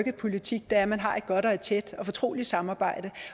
i politik er at man har et godt et tæt og et fortroligt samarbejde